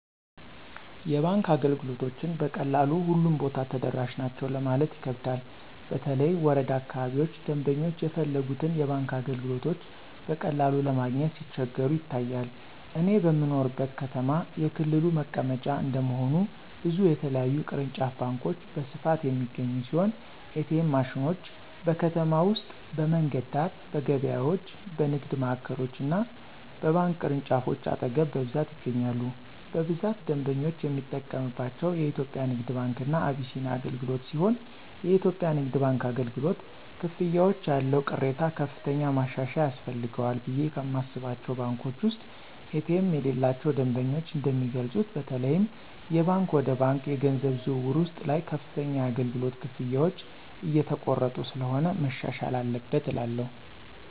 የባንክ አገልግሎቶችን በቀላሉ ሁሉም ቦታ ተደራሽ ናቸው ለማለት ይከብዳል በተለይ ወረዳ አካባቢዎች ደምበኞች የፈለጉትን የባንክ አገልግሎቶች በቀላሉ ለማግኘት ሲቸገሩ ይታያል። እኔ በምኖርበት ከተማ የክልሉ መቀመጫ እንደመሆኑ ብዙ የተለያዩ ቅርንጫፍ ባንኮች በስፋት የሚገኙ ሲሆን ኤ.ቲ.ኤም ማሽኖች: በከተማ ውስጥ በመንገድ ዳር፣ በገበያዎች፣ በንግድ ማዕከሎች እና በባንክ ቅርንጫፎች አጠገብ በብዛት ይገኛሉ። በብዛት ደንበኞች የሚጠቀምባቸው የኢትዮጽያ ንግድ ባንክ እና አቢሲኒያ አገልግሎትሲሆንየኢትዮጵያ ንግድ ባንክ አገልግሎት፨ ክፍያዎች ያለው ቅሬታ ከፍተኛ ማሻሻያ ያስፈልጋቸዋልቑ ብየ ከማስባቸው ባንኮች ውስጥ ኤ.ቲ.ኤም የሌላቸው ደንበኞች እንደሚገልጹት በተለይም የባንክ ወደ ባንክ የገንዘብ ዝውውር ውስጥ ላይ ከፍተኛ የአገልግሎት ክፍያዎች እየተቆረጡ ስለሆነ መሻሻል አለበት እላለሁ።